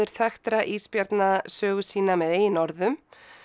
þekktra ísbjarna sögu sína með eigin orðum